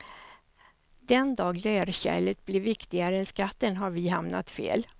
Den dag lerkärlet blir viktigare än skatten har vi hamnat fel.